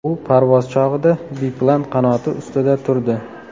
U parvoz chog‘ida biplan qanoti ustida turdi.